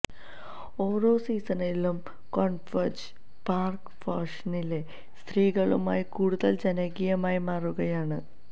ഓരോ സീസണിലും കോംഫഌജ് പാർക്ക് ഫാഷനിലെ സ്ത്രീകളുമായി കൂടുതൽ ജനകീയമായി മാറുകയാണ്